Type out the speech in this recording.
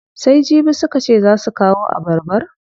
Sai jibi suka ce zaa su kawo abarbar?